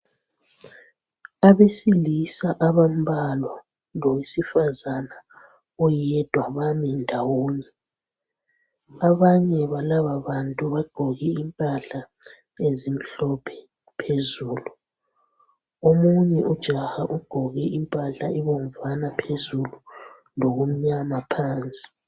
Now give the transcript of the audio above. Abesilisa abambalwa lowesifazana oyedwa bami ndawonye. Abanye balababantu bagqoke impahla ezimhlophe phezulu. Omunye ujaha ugqoke impahla ebomvana phezulu lokumnyama phansi.